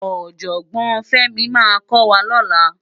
Òjògbòn Femi má kò wá lòlá